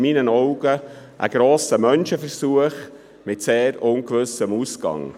In meinen Augen läuft hier ein grosser Menschenversuch mit sehr ungewissem Ausgang.